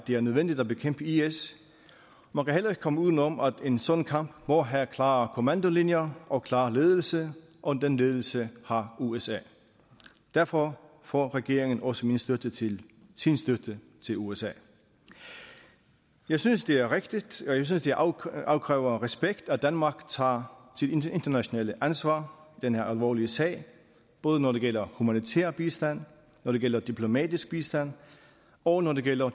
er nødvendigt at bekæmpe is man kan heller ikke komme uden om at en sådan kamp må have klare kommandolinjer og klar ledelse og den ledelse har usa derfor får regeringen også min støtte til sin støtte til usa jeg synes det er rigtigt og jeg synes det afkræver respekt at danmark tager sit internationale ansvar i denne alvorlige sag både når det gælder humanitær bistand når det gælder diplomatisk bistand og når det gælder